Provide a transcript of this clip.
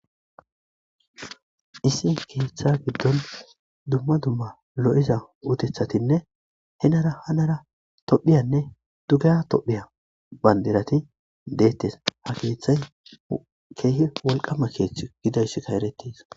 Issi keththa giddon duma duma lo'iza uttethatinne henira hanira tophphiyanne duugeha tophphya banndiratti dettes keththay kehi wolqqama keththa gididayisika erettes.